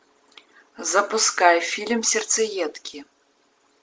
запускай фильм сердцеедки